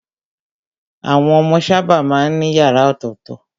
Àwọn ọmọ sábà má ń ní yàrá ọ̀tọ̀tọ̀.